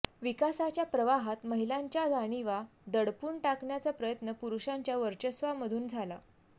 विकासाच्या प्रवाहात महिलांच्या जाणिवा दडपून टाकण्याचा प्रयत्न पुरुषांच्या वर्चस्वामधून झाला